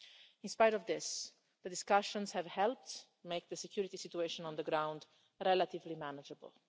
In spite of this, the discussions have helped make the security situation on the ground relatively manageable.